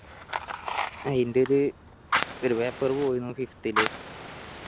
അയിന്റെയൊരു ഒരു paper പോയിരുന്നു fifth ൽ